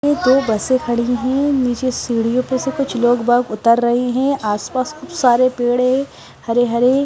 ये दो बसें खड़ी हैं नीचे सीढ़ियों पे से कुछ लोग बाग उतर रहे हैं आसपास खूब सारे पेड़े हरे हरे --